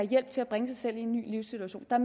hjælp til at bringe sig selv i en ny livssituation der